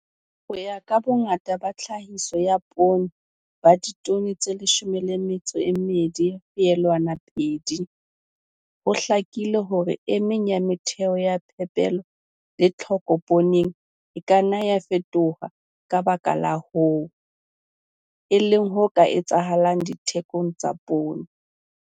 Ho ya ka bongata ba tlhahiso ya poone ba ditone tse 12,2, ho hlakile hore e meng ya metheo ya phepelo le tlhoko pooneng e ka nna ya fetoha ka baka la hoo, e leng ho ka etsahalang le dithekong tsa poone.